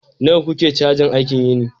nawa kuke cajin aikin yini